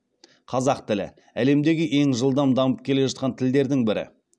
қазақ тілі әлемдегі ең жылдам дамып келе жатқан тілдердің бірі